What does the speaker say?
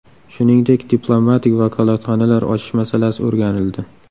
Shuningdek, diplomatik vakolatxonalar ochish masalasi o‘rganildi.